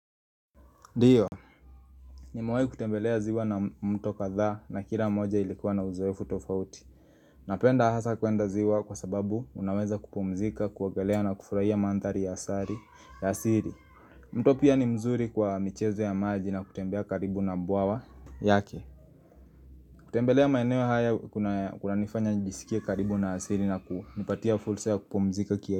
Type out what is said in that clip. Ndiyo, nimewai kutembelea ziwa na mto kadhaa na kila moja ilikuwa na uzoefu tofauti Napenda hasa kwenda ziwa kwa sababu unaweza kupumzika, kuogelea na kufurahia manthari ya asari ya asili mto pia ni mzuri kwa michezo ya maji na kutembea karibu na mbawa yake kutembelea maeneo haya kuna kunanifanya njisikie karibu na asili na kunipatia fursa ya kupumzika kia.